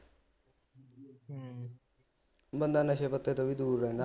ਬੰਦਾ ਨਸ਼ੇ ਪੱਤੇ ਤੋਂ ਵੀ ਦੂਰ ਰਹਿੰਦਾ